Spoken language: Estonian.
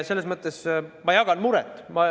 Selles mõttes ma jagan muret.